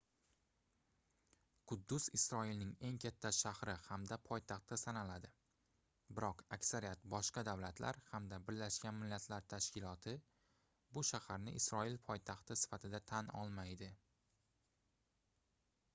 quddus isroilning eng katta shahri hamda poytaxti sanaladi biroq aksariyat boshqa davlatlar hamda birlashgan millatlar tashkiloti bu shaharni isroil poytaxti sifatida tan olmaydi